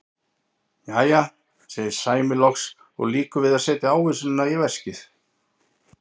Jæja, segir Sæmi loks og lýkur við að setja ávísunina í veskið.